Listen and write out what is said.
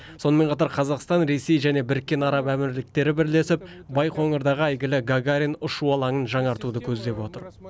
сонымен қатар қазақстан ресей және біріккен араб әмірліктері бірлесіп байқоңырдағы әйгілі гагарин ұшу алаңын жаңартуды көздеп отыр